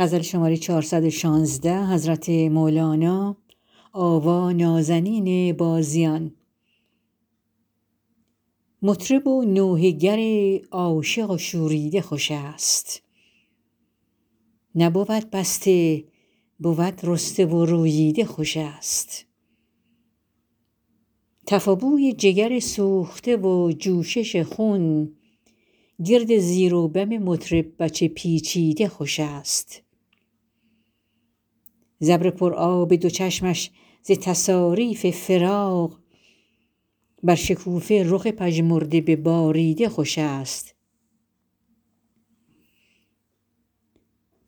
مطرب و نوحه گر عاشق و شوریده خوش است نبود بسته بود رسته و روییده خوش است تف و بوی جگر سوخته و جوشش خون گرد زیر و بم مطرب به چه پیچیده خوش است ز ابر پر آب دو چشمش ز تصاریف فراق بر شکوفه رخ پژمرده بباریده خوش است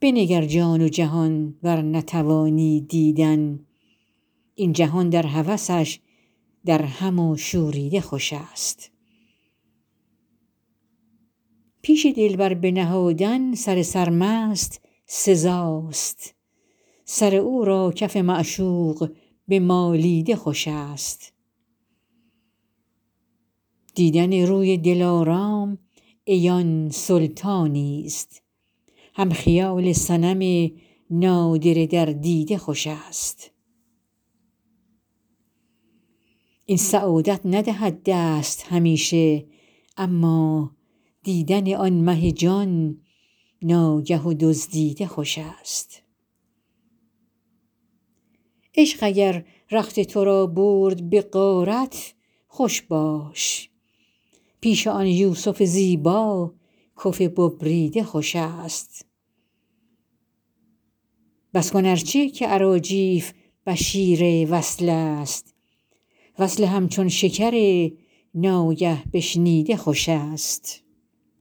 بنگر جان و جهان ور نتوانی دیدن این جهان در هوسش درهم و شوریده خوش است پیش دلبر بنهادن سر سرمست سزا است سر او را کف معشوق بمالیده خوش است دیدن روی دلارام عیان سلطانی است هم خیال صنم نادره در دیده خوش است این سعادت ندهد دست همیشه اما دیدن آن مه جان ناگه و دزدیده خوش است عشق اگر رخت تو را برد به غارت خوش باش پیش آن یوسف زیبا کف ببریده خوش است بس کن ار چه که اراجیف بشیر وصل است وصل همچون شکر ناگه بشنیده خوش است